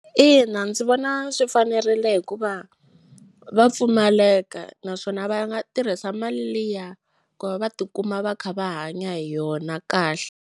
Ina, ndzi vona swi fanerile hikuva va pfumaleka naswona va nga tirhisa mali liya ku va va tikuma va kha va hanya hi yona kahle.